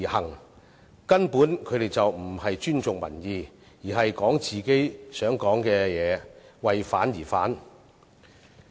他們根本不尊重民意，只會說自己想說的話，為反而反。